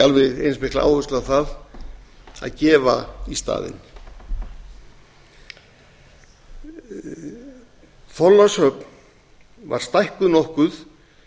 alveg eins mikla áherslu á að gefa í staðinn þorlákshöfn var stækkuð nokkuð